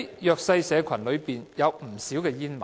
弱勢社群中有不少煙民。